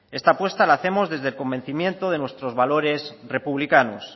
esta apuesta la hacemos desde el convencimiento de nuestros valores republicanos